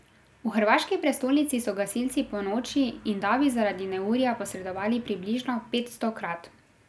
V hrvaški prestolnici so gasilci ponoči in davi zaradi neurja posredovali približno petstokrat.